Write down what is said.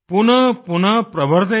पुनः पुनः प्रवर्धेत